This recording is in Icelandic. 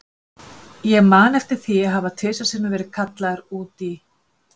Ég man eftir því að hafa tvisvar sinnum verið kallaður út í